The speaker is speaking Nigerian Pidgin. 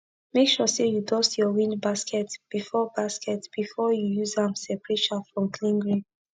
make sure say u dust ur wind basket before basket before u use am separate chaff from clean grain